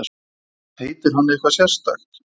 Heitir hann eitthvað sérstakt?